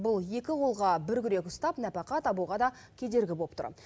бұл екі қолға бір күрек ұстап нәпақа табуға да кедергі болып тұр